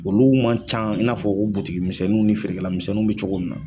Olu man can i n'a fɔ ko ni feerekɛlamisɛnninw bɛ cogo min na.